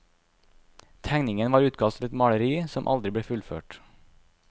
Tegningen var utkast til et maleri, som aldri ble fullført.